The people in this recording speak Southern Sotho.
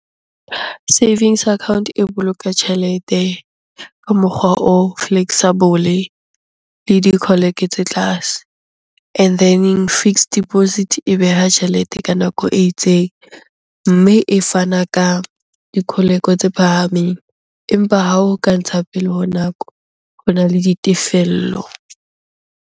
Savings account e boloka tjhelete ka mokgwa o flexible le tse tlase and then-eng fixed deposit e beha tjhelete ka nako e itseng, mme e fana ka tse phahameng. Empa ha o ka ntsha pele ho nako, hona le ditefello.